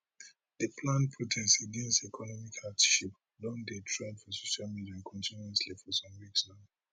di planned protest against economic hardship don dey trend for social media continuously for some weeks now